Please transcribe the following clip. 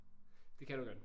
Det kan du godt